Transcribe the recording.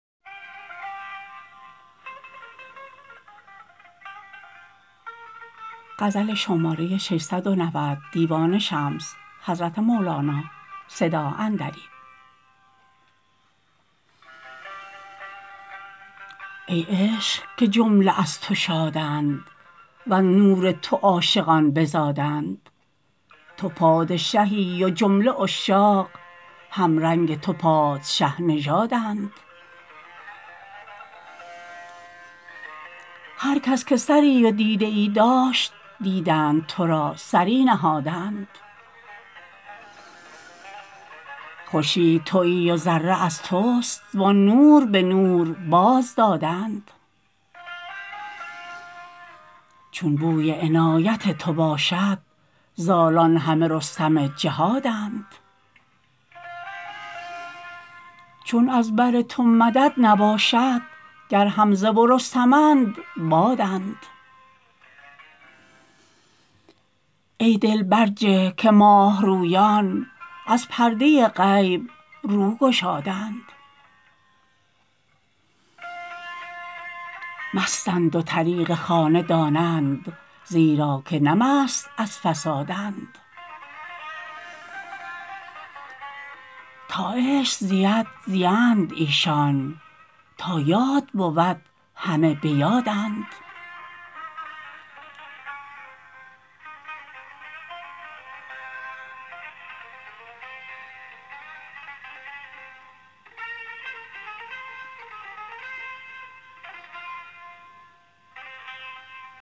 ای عشق که جمله از تو شادند وز نور تو عاشقان بزادند تو پادشهی و جمله عشاق همرنگ تو پادشه نژادند هر کس که سری و دیده ای داشت دیدند تو را سری نهادند خورشید توی و ذره از توست وان نور به نور بازدادند چون بوی عنایت تو باشد زالان همه رستم جهادند چون از بر تو مدد نباشد گر حمزه و رستمند بادند ای دل برجه که ماه رویان از پرده غیب رو گشادند مستند و طریق خانه دانند زیرا که نه مست از فسادند تا عشق زید زیند ایشان تا یاد بود همه به یادند